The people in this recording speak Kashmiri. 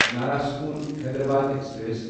نرساپور حیدرآباد ایکسپریس